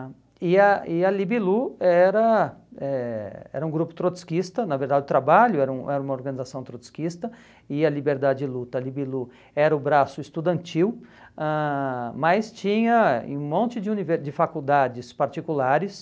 E a e a Libilu era eh era um grupo trotskista, na verdade o trabalho era um era uma organização trotskista, e a Liberdade e Luta, a Libilu era o braço estudantil, ãh mas tinha um monte de univer de faculdades particulares,